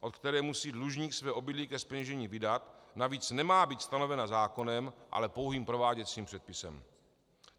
od které musí dlužník své obydlí ke zpeněžení vydat, navíc nemá být stanovena zákonem, ale pouhým prováděcím předpisem.